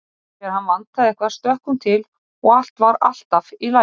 Þegar hann vantaði eitthvað stökk hún til og allt var alltaf í lagi.